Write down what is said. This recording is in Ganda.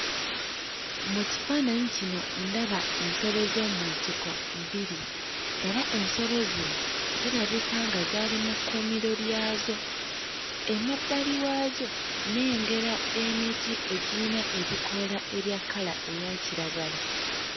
Mu kifaananyi kino ndaba ensolo z'omu nsiko bbiri era ensolo zino zirabika nga zaali mu kkuumiro lyazo. Emabbali waazo nnengera emiti egiyina ebikoola ebya kkala eya kiragala.